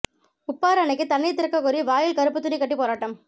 உப்பாறு அணைக்குத் தண்ணீர் திறக்கக்கோரி வாயில் கருப்பு துணி கட்டி போராட்டம்